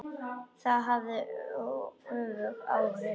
Það hafði öfug áhrif.